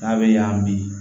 N'a bɛ yan bi